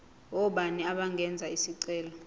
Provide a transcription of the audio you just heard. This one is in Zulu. ngobani abangenza isicelo